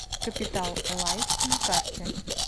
капитал лайф на карте